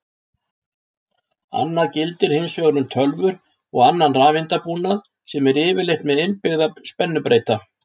Annað gildir hins vegar um tölvur og annan rafeindabúnað sem er yfirleitt með innbyggða spennubreyta.